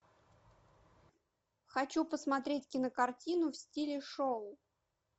хочу посмотреть кинокартину в стиле шоу